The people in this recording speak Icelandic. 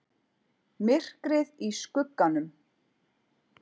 MYRKRIÐ Í SKUGGANUM